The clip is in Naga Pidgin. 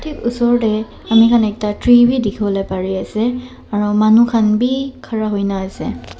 Usor tey amikhan ekta tree beh dekhe bo le bare ase aro manu khan beh khara hoina ase.